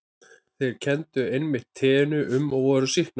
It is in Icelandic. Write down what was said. Þeir kenndu einmitt teinu um og voru sýknaðir.